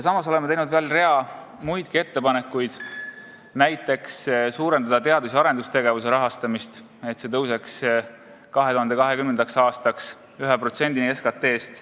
Me oleme teinud veel rea muidki ettepanekuid, näiteks suurendada teadus- ja arendustegevuse rahastamist, et see kasvaks 2020. aastaks 1%-ni SKT-st.